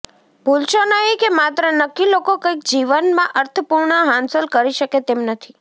ભૂલશો નહીં કે માત્ર નક્કી લોકો કંઈક જીવનમાં અર્થપૂર્ણ હાંસલ કરી શકે તેમ નથી